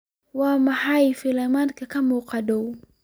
waa maxay filimada ka muuqda dhow